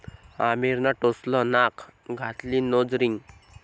आमिरनं टोचलं नाक, घातली नोज रिंग